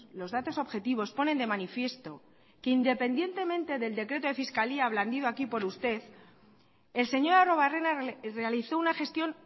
los datos objetivos ponen de manifiesto que independientemente del decreto de fiscalía blandido aquí por usted el señor arruebarrena realizó una gestión